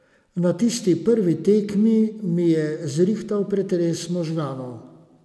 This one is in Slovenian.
Na tisti prvi tekmi mi je zrihtal pretres možganov.